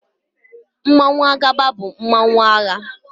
Mmanwụ Agaba bụ mmanụ agha.